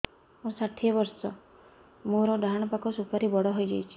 ମୋର ଷାଠିଏ ବର୍ଷ ମୋର ଡାହାଣ ପାଖ ସୁପାରୀ ବଡ ହୈ ଯାଇଛ